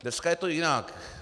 Dneska je to jinak.